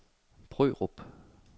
Brørup